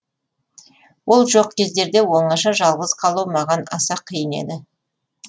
ол жоқ кездерде оңаша жалғыз қалу маған аса қиын еді